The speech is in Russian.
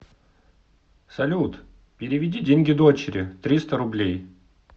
салют переведи деньги дочери триста рублей